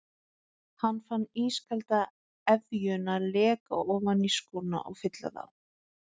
Hann fann ískalda efjuna leka ofan í skóna og fylla þá.